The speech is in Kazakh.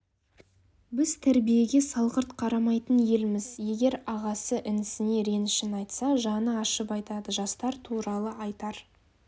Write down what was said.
біз тәрбиеге салғырт қарамайтын елміз егер ағасы інісіне ренішін айтса жаны ашып айтады жастар туралы айтар